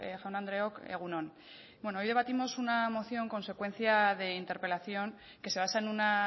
jaun andreok egun on bueno hoy debatimos una moción consecuencia de interpelación que se basa en una